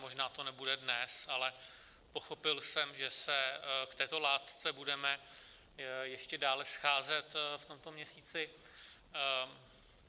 Možná to nebude dnes, ale pochopil jsem, že se k této látce budeme ještě dále scházet v tomto měsíci.